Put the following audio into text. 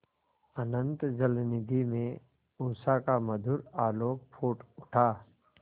अनंत जलनिधि में उषा का मधुर आलोक फूट उठा